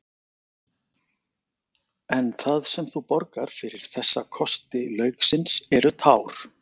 En það sem þú borgar fyrir þessa kosti lauksins eru tár.